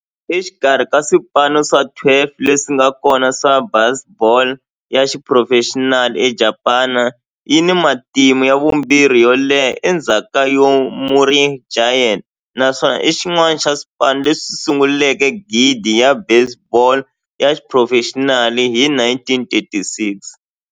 Exikarhi ka swipano swa 12 leswi nga kona swa baseball ya xiphurofexinali eJapani, yi na matimu ya vumbirhi yo leha endzhaku ka Yomiuri Giants, naswona i xin'wana xa swipano leswi sunguleke ligi ya baseball ya xiphurofexinali hi 1936.